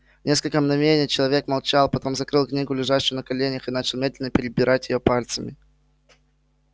несколько мгновений человек молчал потом закрыл книгу лежащую на коленях и начал медленно перебирать её пальцами